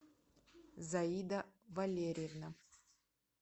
заида валерьевна